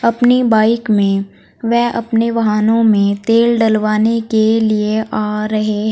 अपनी बाइक में व अपने वहानों में तेल डलवाने के लिए आ रहे--